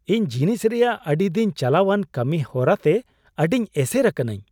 ᱤᱧ ᱡᱤᱱᱤᱥ ᱨᱮᱭᱟᱜ ᱟᱹᱰᱤ ᱫᱤᱱ ᱪᱟᱞᱟᱣᱟᱱ ᱠᱟᱹᱢᱤ ᱦᱚᱨᱟᱛᱮ ᱟᱹᱰᱤ ᱮᱥᱮᱨ ᱟᱠᱟᱱᱟ.ᱧ ᱾